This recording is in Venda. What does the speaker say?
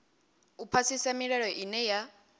u phasisa milayo ine ya